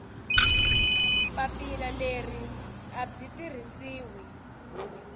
papila leri a byi tirhisiwi